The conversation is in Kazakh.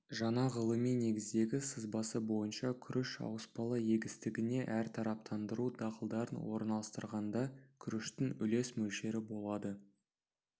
жаңа ғылыми негіздегі сызбасы бойынша күріш ауыспалы егістігіне әртараптандыру дақылдарын орналастырғанда күріштің үлес мөлшері болады